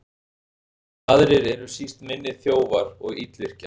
Aðrir eru síst minni þjófar og illvirkjar.